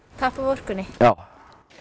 tappa af orkunni já